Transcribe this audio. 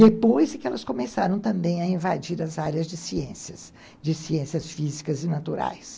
Depois que elas começaram também a invadir as áreas de ciências, de ciências físicas e naturais.